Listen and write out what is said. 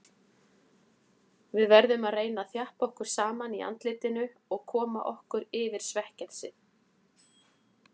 Við verðum að reyna að þjappa okkur saman í andlitinu og koma okkur yfir svekkelsið.